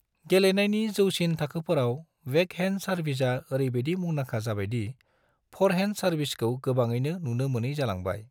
गेलेनायनि जौसिन थाखोफोराव, बेकहैन्ड सार्विसा ओरैबायदि मुंदांखा जाबायदि फरहेन्ड सार्विसखौ गोबाङैनो नुनो मोनै जालांबाय।